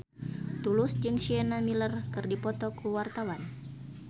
Tulus jeung Sienna Miller keur dipoto ku wartawan